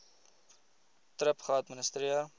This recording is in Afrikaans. thrip geadministreer